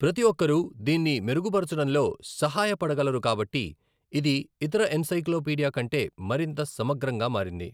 ప్రతి ఒక్కరూ దీన్ని మెరుగుపరచడంలో సహాయపడగలరు కాబట్టి, ఇది ఇతర ఎన్సైక్లోపీడియా కంటే మరింత సమగ్రంగా మారింది.